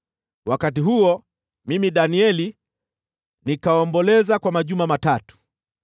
Wakati huo, mimi Danieli nikaomboleza kwa majuma matatu.